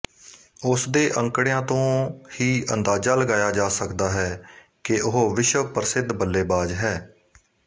ਉਸਦੇ ਅੰਕੜਿਆਂ ਤੋਂ ਹੀ ਅੰਦਾਜ਼ਾ ਲਗਾਇਆ ਜਾ ਸਕਦਾ ਹੈ ਕਿ ਉਹ ਵਿਸ਼ਵ ਪ੍ਰਸਿੱਧ ਬੱਲੇਬਾਜ ਹੈ